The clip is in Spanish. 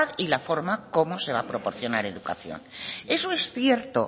y la forma como se va a proporcionar educación eso es cierto